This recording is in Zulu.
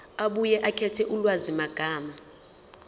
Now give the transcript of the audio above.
abuye akhethe ulwazimagama